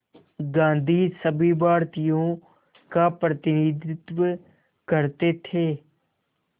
गांधी सभी भारतीयों का प्रतिनिधित्व करते थे